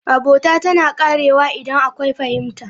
Abota tana ƙarewa idan akwai fahimta.